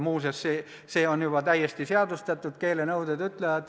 Muuseas, see on juba täiesti seadustatud.